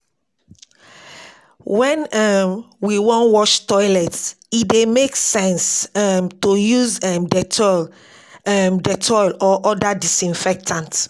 when um we wan wash toilet, e dey make sense um to use um dettol um dettol or oda disinfectant